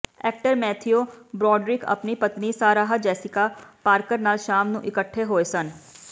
actor Matthew Broderick ਆਪਣੀ ਪਤਨੀ Sarah Jessica Parker ਨਾਲ ਸ਼ਾਮ ਨੂੰ ਇਕੱਠੇ ਹੋਏ ਸਨ